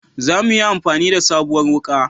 Za muyi amfani da sabuwar wuka